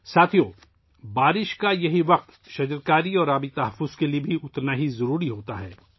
ساتھیو ، بارش کا یہ مرحلہ 'درخت لگانے' اور 'پانی کے تحفظ' کے لیے بھی اتنا ہی اہم ہے